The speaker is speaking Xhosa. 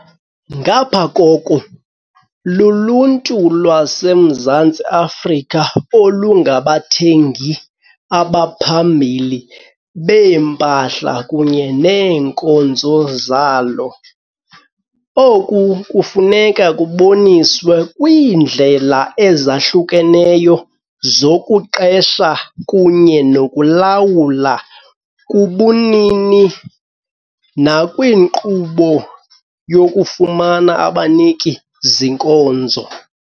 Ngapha koko, luluntu lwaseMzantsi Afrika olungabathengi abaphambili beempahla kunye neenkonzo zalo. Oku kufuneka kuboniswe kwiindlela ezahlukeneyo zokuqesha kunye nokulawula, kubunini nakwiinkqubo yokufumana abaniki-zinkonzo.